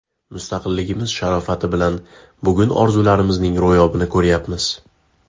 Mustaqilligimiz sharofati bilan bugun orzularimizning ro‘yobini ko‘rayapmiz.